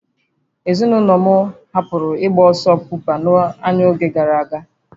Ezinụlọ m hụburu ịgba ọsọ bọmpa n'anya n'oge gara aga